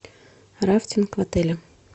рафтинг в отеле